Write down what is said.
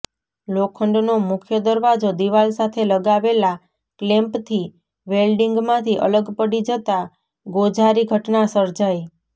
લોખંડનો મુખ્ય દરવાજો દિવાલ સાથે લગાવેલા ક્લેમ્પથી વેલ્ડીંગમાંથી અલગ પડી જતાં ગોઝારી ઘટના સર્જાઇ